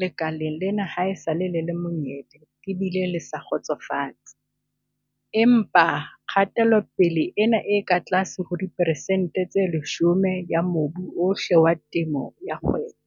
lekaleng lena haesale le le monyebe le bile le sa kgotsofatse. Empa kgatelopele ena e ka tlase ho diperesente tse 10 ya mobu ohle wa temo ya kgwebo.